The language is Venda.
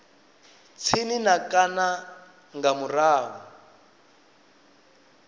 tsini na kana nga murahu